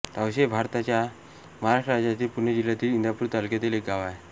तावशी हे भारताच्या महाराष्ट्र राज्यातील पुणे जिल्ह्यातील इंदापूर तालुक्यातील एक गाव आहे